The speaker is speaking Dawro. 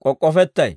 k'ok'k'ofettay.